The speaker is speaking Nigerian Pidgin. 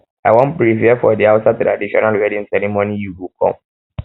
i wan prepare for di hausa traditional wedding ceremony you go come